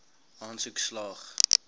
aansoek slaag